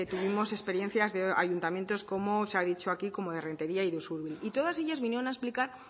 tuvimos experiencias de ayuntamientos como se ha dicho aquí como de rentería y de usurbil y todas ellas vinieron a explicar